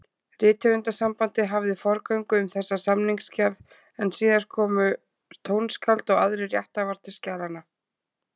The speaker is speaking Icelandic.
Rithöfundasambandið hafði forgöngu um þessa samningsgerð, en síðan komu tónskáld og aðrir rétthafar til skjalanna.